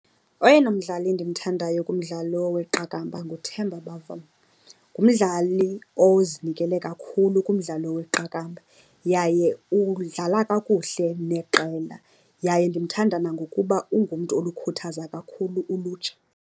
Oyena mdlali ndimthandayo kumdlalo weqakamba nguTemba Bavuma. Ngumdlali ozinikele kakhulu kumdlalo weqakamba yaye udlala kakuhle neqela. Yaye ndimthanda nangokuba ungumntu olukhuthaza kakhulu ulutsha.